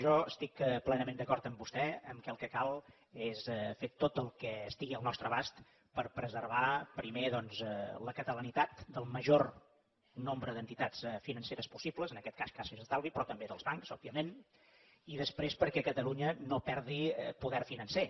jo estic plenament d’acord amb vostè que el que cal és fer tot el que estigui al nostre abast per preservar primer doncs la catalanitat del major nombre d’entitats financeres possibles en aquest cas caixes d’estalvi però també dels bancs òbviament i després perquè catalunya no perdi poder financer